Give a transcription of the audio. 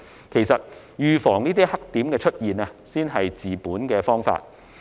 其實，預防黑點出現才是治本的方法。